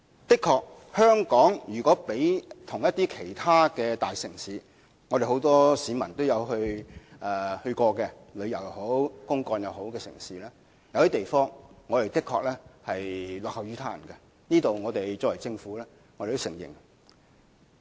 如果將香港與其他大城市比較——市民皆曾前往旅遊或公幹的大城市——有些地方我們的確落後於人，我們政府是承認的。